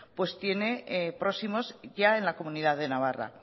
tiene próximos ya en la comunidad de navarra